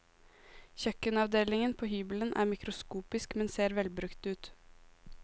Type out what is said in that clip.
Kjøkkenavdelingen på hybelen er mikroskopisk, men ser velbrukt ut.